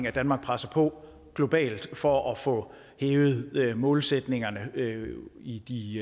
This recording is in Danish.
at danmark presser på globalt for at få hævet målsætningerne i i